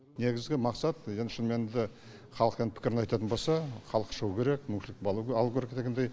негізгі мақсат енді шынымен де халық енді пікірін айтатын болса халық шығуы керек мүмкіншілік алу керек дегендей